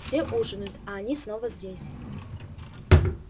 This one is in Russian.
все ужинают а они снова здесь